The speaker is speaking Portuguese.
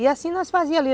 E assim nós fazíamos ali.